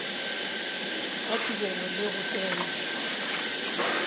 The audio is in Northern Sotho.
ga tirelo le go tsena